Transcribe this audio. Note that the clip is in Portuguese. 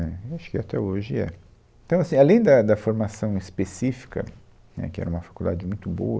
Né, e acho que até hoje é. Então, assim, Além da da formação específica, né, que era uma faculdade muito boa,